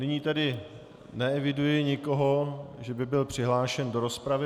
Nyní tedy neeviduji nikoho, že by byl přihlášen do rozpravy.